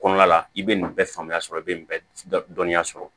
Kɔnɔna la i bɛ nin bɛɛ faamuya sɔrɔ i bɛ nin dɔnniya sɔrɔ